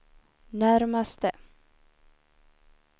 närmaste